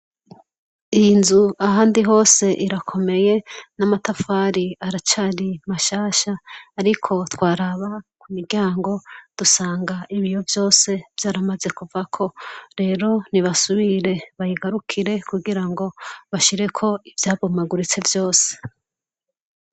Iyi nzu ahandi hose irakomeye n'amatafari aracari mashasha ariko twaraba ku miryango dusanga ibiyo vyose vyaramaze kuvako, rero nibasubire bayigarukire kugirango bashireko ivyabomaguritse vyose.